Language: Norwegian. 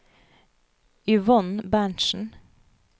Yvonne Berntsen